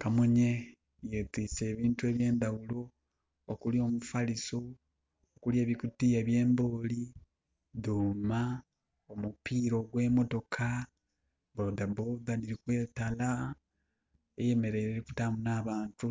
Kamunye etwise ebintu eby' endawulo okuli omufaliso, okuli ebikutiya ebye mbooli, dhuuma, mupiira gwe mmotoka (Bodaboda diri kwetala) eyemereire erikutaamu na bantu